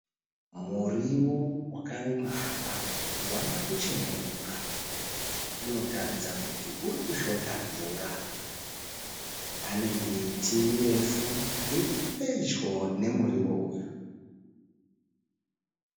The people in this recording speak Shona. Muriwo wakarimwa apa wawa kucheneruka. Unotaridza kuti uri kushota mvura. Pane miti mirefu iri pedyo nemuriwo uyu.